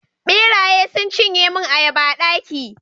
ɓeraye sun cinye mun ayaba a daki